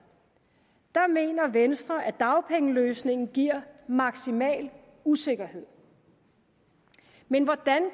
mener venstre at dagpengeløsningen giver maksimal usikkerhed men hvordan